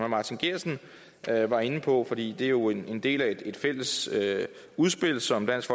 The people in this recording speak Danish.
martin geertsen var inde på for det er jo en del af et fælles udspil som dansk